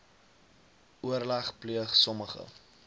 oorleg pleeg sommige